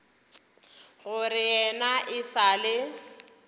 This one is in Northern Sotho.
gore yena e sa le